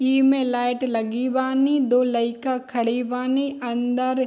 इमे लाइट लगी बानी दो लइका खड़ी बानी अन्दर --